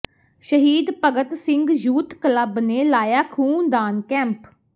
ਸ਼ਹੀਦ Bhagat Singh youth club ਨੇ ਲਾਇਆ ਖ਼ੂਨਦਾਨ ਕੈਂਪ